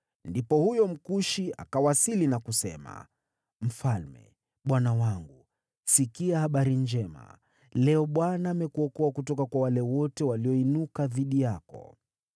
Ndipo huyo Mkushi akawasili na kusema, “Mfalme bwana wangu, sikia habari njema! Leo Bwana amekuokoa kutoka kwa wale wote walioinuka dhidi yako.”